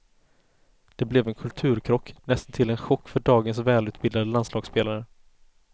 Det blev en kulturkrock, näst intill en chock för dagens välutbildade landslagsspelare.